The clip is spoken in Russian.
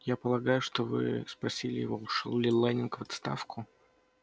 я полагаю что вы спросили его ушёл ли лэннинг в отставку